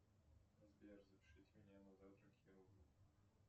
сбер запишите меня на завтра к хирургу